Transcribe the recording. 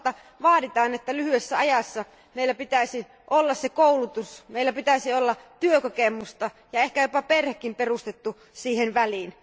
Toisaalta vaaditaan, että lyhyessä ajassa meillä pitäisi olla koulutus, meillä pitäisi olla työkokemusta ja ehkä jopa perhekin perustettuna siihen väliin.